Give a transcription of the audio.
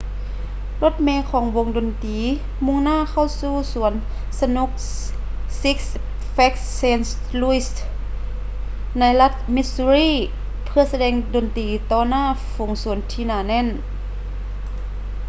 ລົດເມຂອງວົງດົນຕີມຸ່ງໜ້າເຂົ້າສູ່ສວນສະໜຸກ ຊິກສ໌ ແຟຼກສ໌ ເຊນທ໌ ລຸຍສ໌ six flags st. louis ໃນລັດ ມິດຊູຣີ່ missouri ເພື່ອສະແດງດົນຕີຕໍ່ໜ້າຝູງຊົນທີ່ໜາແໜ້ນ